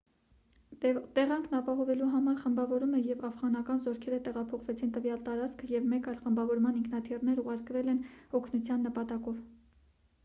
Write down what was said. տեղանքն ապահովելու համար խմբավորումը և աֆղանական զորքերը տեղափոխվեցին տվյալ տարածք և մեկ այլ խմբավորման ինքնաթիռներ ուղարկվել են օգնության նպատակով